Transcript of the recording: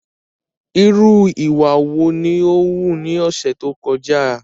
Irú ìwà wo ni o wù ní ọ̀sẹ̀ tó kọjá?